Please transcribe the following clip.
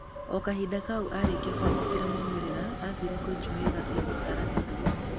Okahinda kau arĩkia kwamũkira maumĩrĩra, athire kwĩ njũhiga cia gũtarana